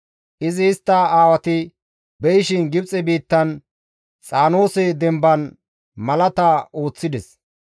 Izi istta aawati be7ishin Gibxe biittan Xaanoose demban malaata ooththides.